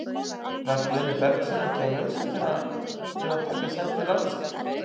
Var Guðni Bergsson ekki á lausu til að taka sæti Lárusar?